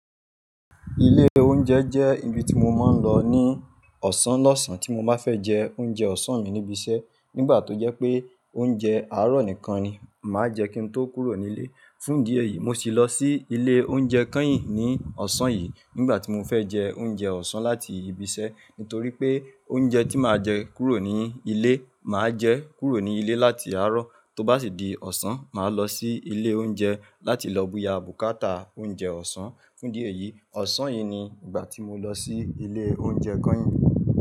Ilé oúnjẹ jẹ́ ibi tí mo máa ń lọ ní ọ̀sán lọ́sàn tí mo bá fẹ́ jẹ oúnjẹ ọ̀sán mi níbi iṣẹ́, nígbà tó jẹ́ pé oúnjẹ àárọ̀ nìkan ni màá jẹ kí n tó kúrò ní ilé. Fún ìdí èyí, mo sì lọ sí ilé oúnjẹ Kanyin ní ọ̀sán yìí nígbà tí mo fẹ́ jẹ oúnjẹ ọ̀sán láti ibi iṣẹ́. Nítorí pé oúnjẹ tí màá jẹ kúrò ní ilé, màá jẹ kúrò ní ilé láti àárọ̀, tó bá sì di ọ̀sán, màá lọ sí ilé oúnjẹ láti lọ buya bùkátà oúnjẹ ọ̀sán. Fún ìdí èyí, ọ̀sán yìí ni ìgbà tí mo lọ sí ilé oúnjẹ Kanyin.